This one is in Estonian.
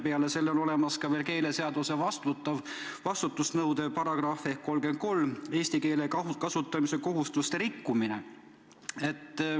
Peale selle on olemas keeleseaduse vastutust nõudev paragrahv ehk 33, eesti keele kasutamise kohustuste rikkumine.